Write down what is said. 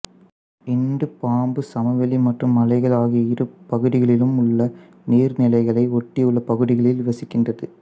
இந்து பாம்பு சமவெளி மற்றும் மலைகள் ஆகிய இரு பகுதிகளிலும் உள்ள நீர்நிலைகளை ஒட்டியுள்ள பகுதிகளில் வசிக்கின்றது